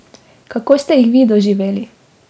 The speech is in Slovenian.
Kako ste jih vi doživeli?